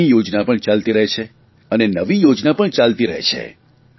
જૂની યોજના પણ ચાલતી રહે છે અને નવી યોજના પણ ચાલતી રહે છે